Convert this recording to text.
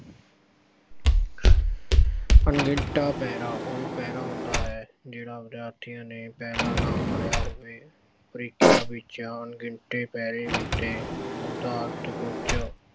ਅਣਡਿੱਠਾ ਪੈਰਾ ਉਹ ਪੈਰਾ ਹੁੰਦਾ ਹੈ ਜਿਹੜਾ ਵਿਦਿਆਰਥੀਆਂ ਨੇ ਪਹਿਲਾਂ ਨਾ ਪੜਿਆ ਹੋਵੇ। ਪ੍ਰੀਖਿਆ ਵਿੱਚ ਅਣਡਿੱਠੇ ਪੈਰੇ ਉੱਤੇ ਆਧਾਰਿਤ ਕੁੱਝ